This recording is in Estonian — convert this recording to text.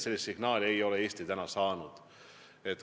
Sellist signaali ei ole Eesti saanud.